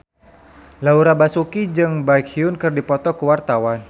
Laura Basuki jeung Baekhyun keur dipoto ku wartawan